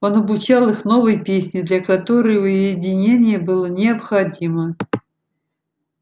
он обучал их новой песне для которой уединение было необходимо